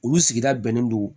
Olu sigida bɛnnen don